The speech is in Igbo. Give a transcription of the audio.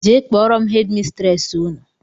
Jee kpọrọ m headi mistresi Ụnụ!!!